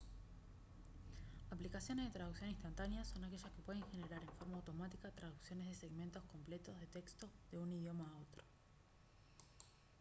aplicaciones de traducción instantáneas son aquellas que pueden generar en forma automática traducciones de segmentos completos de texto de un idioma a otro